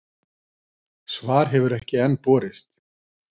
Svar hefur enn ekki borist.